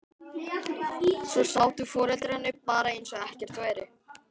Svo sátu foreldrarnir bara eins og ekkert væri.